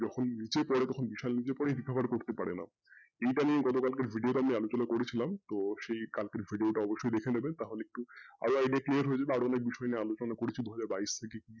যে নিজে পরেই তখন বিশাল নিজে পরেই recover করতে পারেন আপনি এইটা নিয়ে আমি গত কালকের video টায় আলোচনা করেছিলাম তো সেই কালকের video টা অবশ্যই দেখে নেবেন তাহলে আরেকটু clear হয়ে যাবে আরও অনেক বিষয় নিয়ে আলোচনা করেছি দুহাজার বাইশ থেকে,